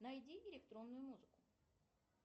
найди электронную музыку